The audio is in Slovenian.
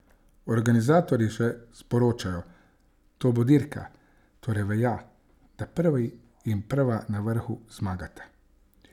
Organizatorji še sporočajo: "To bo dirka, torej velja, da prvi in prva na vrhu zmagata.